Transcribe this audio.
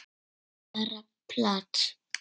Bara plat.